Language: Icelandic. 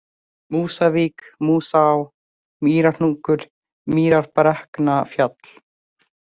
Músavík, Músaá, Mýrahnúkur, Mýrarbrekknafjall